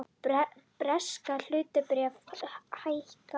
Bresk hlutabréf hækka